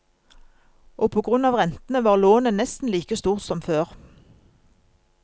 Og på grunn av rentene, var lånet nesten like stort som før.